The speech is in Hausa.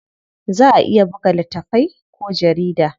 Za a iya buga littatafai ko jarida.